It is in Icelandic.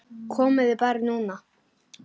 Komiði bara núna.